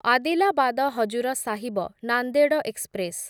Adilabad Hazur Sahib Nanded express